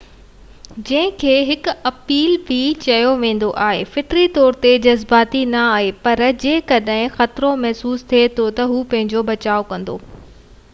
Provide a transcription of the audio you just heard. موز جنهن کي هڪ ايل به چيو ويندو آهي فطري طور تي جذباتي نہ آهي، پر جيڪڏهن خطرو محسوس ٿئي ٿو تہ هو پنهنجو بچاءُ ڪندو